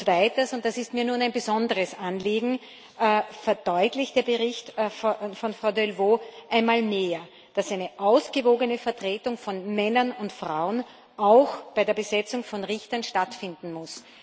Weiters und das ist mir nun ein besonderes Anliegen verdeutlicht der Bericht von Frau Delvaux einmal mehr, dass eine ausgewogene Vertretung von Männern und Frauen auch bei der Besetzung von Richtern stattfinden muss.